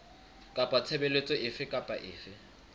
kapa tshebeletso efe kapa efe